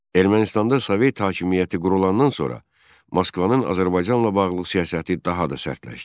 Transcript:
Ermənistanda Sovet hakimiyyəti qurulandan sonra Moskvanın Azərbaycanla bağlı siyasəti daha da sərtləşdi.